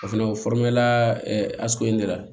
O fɛnɛ o